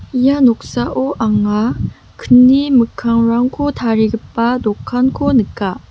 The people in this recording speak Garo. ia noksao anga kni mikkangrangko tarigipa dokanko nika.